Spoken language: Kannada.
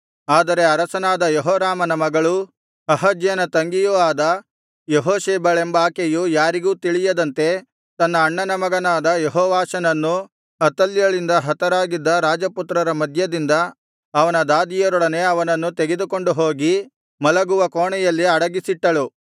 ಆದರೆ ಅರಸನಾದ ಯೆಹೋರಾಮನ ಮಗಳೂ ಅಹಜ್ಯನ ತಂಗಿಯೂ ಆದ ಯೆಹೋಷೆಬಳೆಂಬಾಕೆಯು ಯಾರಿಗೂ ತಿಳಿಯದಂತೆ ತನ್ನ ಅಣ್ಣನ ಮಗನಾದ ಯೆಹೋವಾಷನನ್ನು ಅತಲ್ಯಳಿಂದ ಹತರಾಗಿದ್ದ ರಾಜಪುತ್ರರ ಮಧ್ಯದಿಂದ ಅವನ ದಾದಿಯರೊಡನೆ ಅವನನ್ನು ತೆಗೆದುಕೊಂಡು ಹೋಗಿ ಮಲಗುವ ಕೋಣೆಯಲ್ಲಿ ಅಡಗಿಸಿಟ್ಟಳು